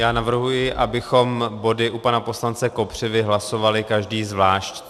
Já navrhuji, abychom body u pana poslance Kopřivy hlasovali každý zvlášť.